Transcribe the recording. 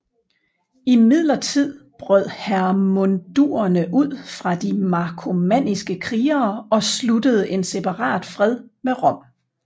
Imidlertid brød hermundurerne ud fra de markomanniske krigere og sluttede en separat fred med Rom